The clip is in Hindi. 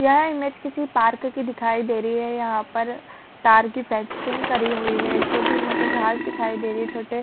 यह इमेज किसी पार्क की दिखाई दे रही है यहाँ पर तार की फेंसिंग करी हुई है छोटी मोटी घास दिखाई दे रही छोटे--